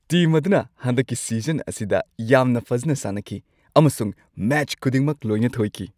Team ꯑꯗꯨꯅ ꯍꯟꯗꯛꯀꯤ season ꯑꯁꯤꯗ ꯌꯥꯝꯅ ꯐꯖꯅ ꯁꯥꯟꯅꯈꯤ ꯑꯃꯁꯨꯡ ꯃꯦꯆ ꯈꯨꯗꯤꯡꯃꯛ ꯂꯣꯏꯅ ꯊꯣꯏꯈꯤ ꯫